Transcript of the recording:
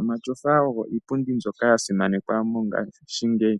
Omatyofa ogo iipundi mbyoka ya simanekwa mongaashingeyi.